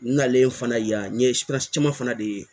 N nalen fana yan n ye caman fana de ye